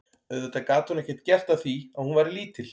Auðvitað gat hún ekkert gert að því að hún væri lítil.